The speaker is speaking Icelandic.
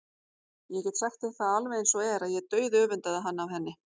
Ég get sagt þér alveg eins og er að ég dauðöfundaði hann af henni.